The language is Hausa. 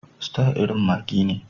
Star irin maggi ne.